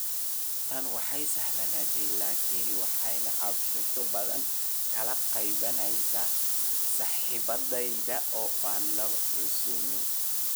tani way sahlanaatay, laakiin waxaan cabasho badan ka qabnay saaxiibadayada oo aan lagu casuumin.